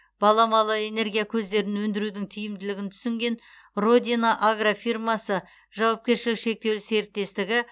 баламалы энергия көздерін өндірудің тиімділігін түсінген родина агрофирмасы жауапкершілігі шектеулі серіктестігі